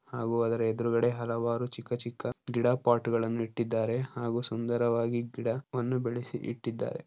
ಹಾಗು ಅದರ ಎದುರುಗಡೆ ಹಲವಾರು ಚಿಕ್ಕ ಚಿಕ್ಕ ಗಿಡಗಳನ್ನು ಪಾಟ್ ನೆಟ್ಟಿದ್ದಾರೆ ಹಾಗೂ ಸುಂದರವಾಗಿ ಗಿಡವನ್ನು ಬೆಳಸಿ ಇಟ್ಟಿದ್ದಾರೆ.